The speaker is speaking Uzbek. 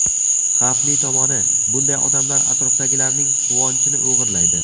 Xavfli tomoni: Bunday odamlar atrofdagilarning quvonchini o‘g‘irlaydi.